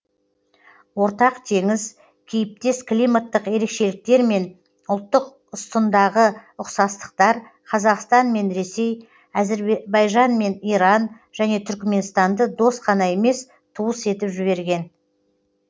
ортақ теңіз кейіптес климаттық ерекшеліктер мен ұлттық ұстындағы ұқсастықтар қазақстан мен ресей әзербайжан мен иран және түрікменстанды дос қана емес туыс етіп жіберген